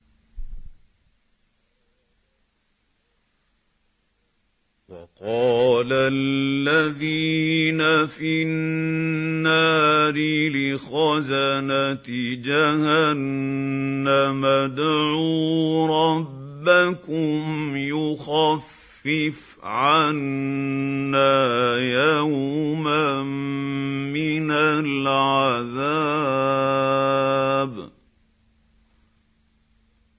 وَقَالَ الَّذِينَ فِي النَّارِ لِخَزَنَةِ جَهَنَّمَ ادْعُوا رَبَّكُمْ يُخَفِّفْ عَنَّا يَوْمًا مِّنَ الْعَذَابِ